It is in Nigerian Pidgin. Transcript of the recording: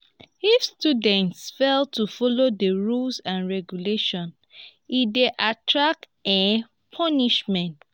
if students fail to follow the rules and regulations e de attract um punishment